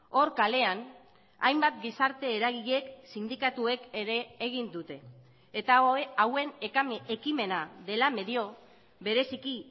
hor kalean hainbat gizarte eragileek sindikatuek ere egin dute eta hauen ekimena dela medio bereziki